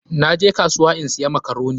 Na je kasuwa in siya makaroni.